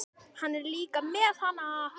Hann er líka með HANA!